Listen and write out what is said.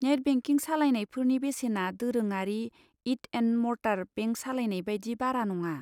Net banking सालायनायफोरनि बेसेना दोरोङारि इट एन्ड मर्टार बेंक सालायनाय बायदि बारा नङा।